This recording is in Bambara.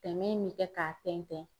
Tɛmɛ in mi kɛ k'a tɛntɛn.